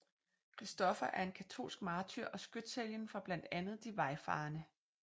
Kristoffer er en katolsk martyr og skytshelgen for blandt andet de vejfarende